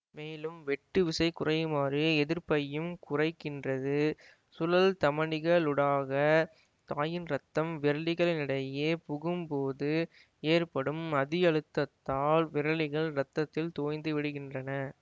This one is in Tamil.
மேலும் வெட்டு விசை குறையுமாறு எதிர்ப்பையும் குறைக்கின்றது சுழல் தமனிகளுடாக தாயின் இரத்தம் விரலிகளினிடையே புகும்போது ஏற்படும் அதி அழுத்தத்தால் விரலிகள் இரத்தத்தில் தோய்ந்துவிடுகின்றன